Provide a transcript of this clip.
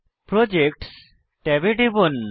projects ট্যাবে টিপুন